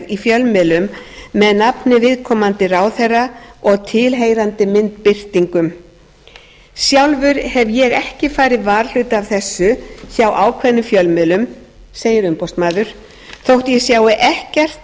í fjölmiðlum með nafni viðkomandi ráðherra og tilheyrandi myndbirtingum sjálfur hef ég ekki farið varhluta af þessu hjá ákveðnum fjölmiðlum segir umboðsmaður þótt ég sjái ekkert